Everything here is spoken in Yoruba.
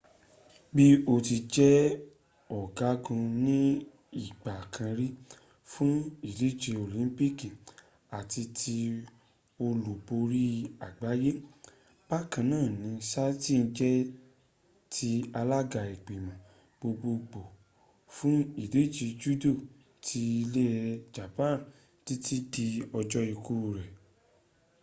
bí ó ti jẹ́ ọ̀gágun ní ìgbà kan rí fún ìdíje olympic àti ti olúborí àgbáyé bákan náà ni saito jẹ́ the alága ìgbìmọ̀ gbogbogbò fún ìdíje judo ti ilẹ̀ japan títí dí ọjọ́ ikú rẹ̀